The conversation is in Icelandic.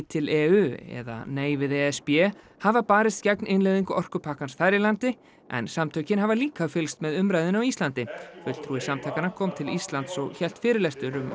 til e u eða nei við e s b hafa barist gegn innleiðingu orkupakkans þar í landi en samtökin hafa líka fylgst með umræðunni á Íslandi fulltrúi samtakanna kom til Íslands og hélt fyrirlestur um